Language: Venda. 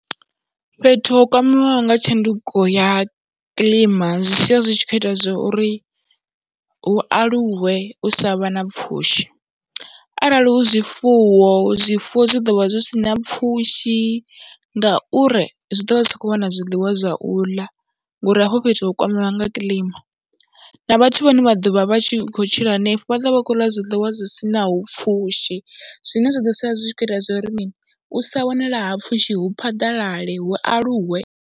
Fhethu ho kwameaho nga tshanduko ya kiḽima zwi sia zwi tshi khou ita zwo ri hu aluwe u sa vha na pfhushi arali hu zwifuwo, zwifuwo zwi ḓo vha zwi si na pfhushi ngauri zwi ḓo vha zwi sa khou wana zwiḽiwa zwa u ḽa ngori hafho fhethu ho kwamiwa nga kiḽima, na vhathu vhane vha ḓo vha vha tshi khou tshila henefho, vha ḓo vha khou ḽa zwiḽiwa zwi si naho pfhushi, zwine zwa ḓo sia zwi khou ita zwa uri u sa wanala ha pfhushi hu phaḓalale, hu aluwe.